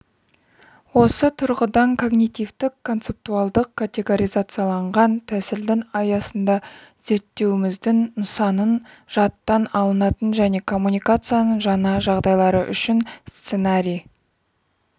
осы тұрғыдан когнитивтік концептуалдық-категоризацияланған тәсілдің аясында зерттеуіміздің нысанын жадтан алынатын және коммуникацияның жаңа жағдайлары үшін сценарий